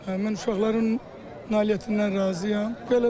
Mən uşaqların nailiyyətindən razıyam.